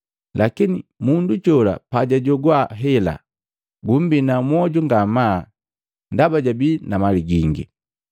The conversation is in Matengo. Lakini mundu jola pajajogwa hela gumbina mmoju ngamaa ndaba jabii na mali gingi.